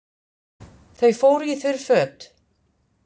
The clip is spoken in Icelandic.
Þau fóru í þurr föt.